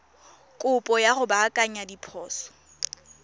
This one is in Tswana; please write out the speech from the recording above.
kopo ya go baakanya diphoso